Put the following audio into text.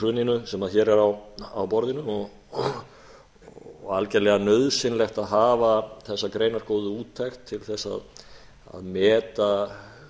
hruninu sem er á borðinu og algerlega nauðsynlegt að hafa þessa greinargóðu úttekt til þess að meta